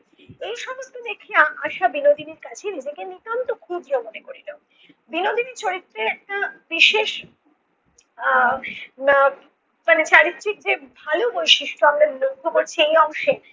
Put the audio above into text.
এই সমস্ত দেখিয়া আশা বিনোদিনীর কাছে নিজেকে নিতান্ত ক্ষুদ্র মনে করিলো। বিনোদিনী চরিত্রে এর বিশেষ আহ না মানে চারিত্রিক যে ভালো বৈশিষ্ট্য আমরা লক্ষ্য করছি এই অংশে